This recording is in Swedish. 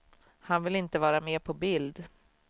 Han vill inte vara med på bild.